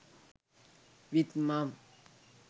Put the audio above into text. with mom